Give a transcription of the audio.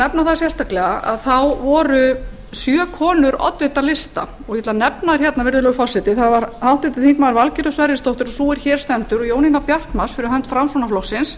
ég vil nefna það sérstaklega voru sjö konur oddvitar lista og ég ætla að nefna þær hérna virðulegur forseti það var háttvirtur þingmaður valgerður sverrisdóttir sú er hér stendur og jónína bjartmarz fyrir hönd framsóknarflokksins